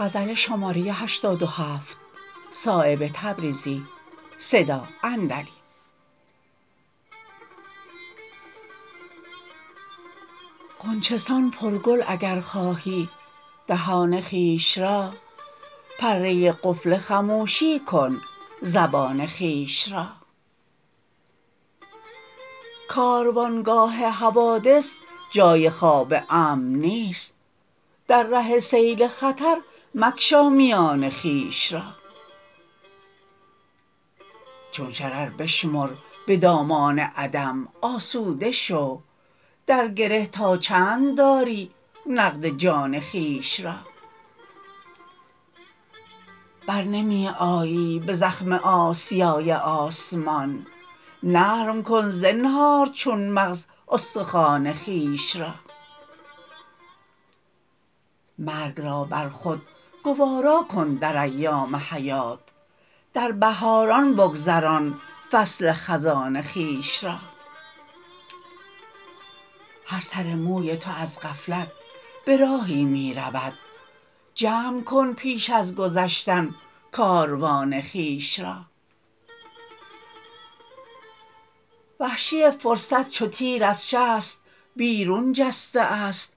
غنچه سان پر گل اگر خواهی دهان خویش را پره قفل خموشی کن زبان خویش را کاروانگاه حوادث جای خواب امن نیست در ره سیل خطر مگشا میان خویش را چون شرر بشمر به دامان عدم آسوده شو در گره تا چند داری نقد جان خویش را برنمی آیی به زخم آسیای آسمان نرم کن زنهار چون مغز استخوان خویش را مرگ را بر خود گوارا کن در ایام حیات در بهاران بگذران فصل خزان خویش را هر سر موی تو از غفلت به راهی می رود جمع کن پیش از گذشتن کاروان خویش را وحشی فرصت چو تیر از شست بیرون جسته است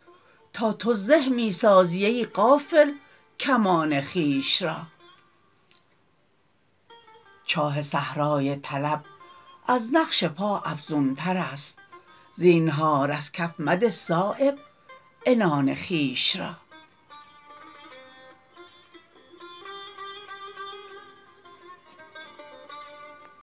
تا تو زه می سازی ای غافل کمان خویش را چاه صحرای طلب از نقش پا افزون تر است زینهار از کف مده صایب عنان خویش را